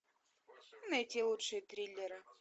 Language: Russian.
найти лучшие триллеры